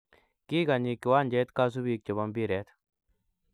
Kikanyiy kiwanjet kasubiik che bo mpiret.